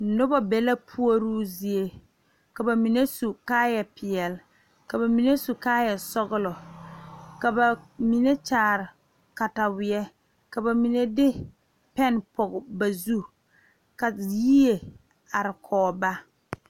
Noba be la pouri zie ka bamine su kaaya ziiri, ka bamine su kaaya sɔglɔ ka bamine kyaare katawiɛ ka bamine de pene pɔge ba zu ka yie are kɔŋ ba.